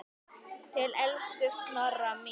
Til elsku Snorra míns.